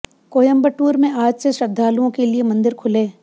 कोयंबटूर में आज से श्रद्धालुओं के लिए मंदिर खुले